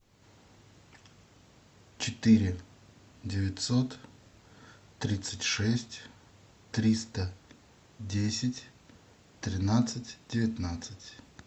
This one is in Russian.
четыре девятьсот тридцать шесть триста десять тринадцать девятнадцать